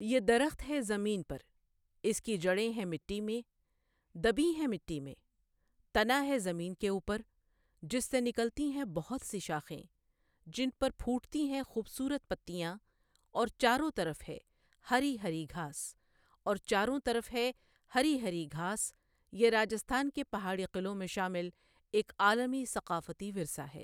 یہ درخت ہے زمین پر، اس کی جڑیں ہیں مٹی میں، دبی ہیں مٹی میں، تنا ہے زمین کے اوپر، جس سے نکلتی ہیں بہت سی شاخیں، جن پر پھوٹتی ہیں خوبصورت پتیاں، اور چاروں طرف ہے ہری ہری گھاس، اور چاروں طرف ہے ہری ہری گھاس یہ راجستھان کے پہاڑی قلعوں میں شامل ایک عالمی ثقافتی ورثہ ہے۔